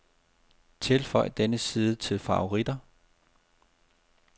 Tilføj denne side til favoritter.